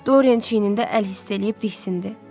Dorian çiynində əl hiss eləyib diksindi.